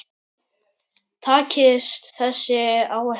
Takist þessi áætlun